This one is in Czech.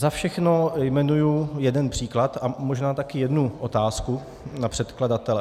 Za všechno jmenuji jeden příklad a možná taky jednu otázku na předkladatele.